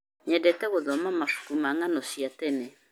Nyendete gũthoma mabuku ma ng'ano cia tene.